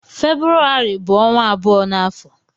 Febrụwarị bu onwa abụọ n'afọ.